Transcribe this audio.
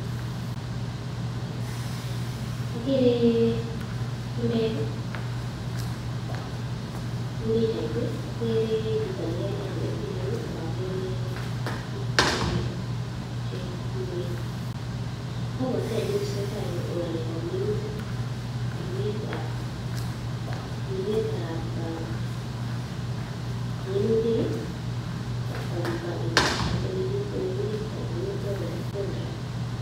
Okere chumbek en pichait okere chito nekalach chenyolilen ak okere biik che tuen, obwote kiit neesetaa en yuu ko ngalekab minutik, ribetab minutik ak konetishet olekiribtoi minutik ak olekikoldo.